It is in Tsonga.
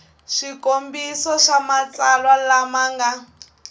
swikombiso swa matsalwa lama nga